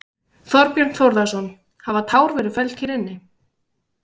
Þorbjörn Þórðarson: Hafa tár verið felld hér inni?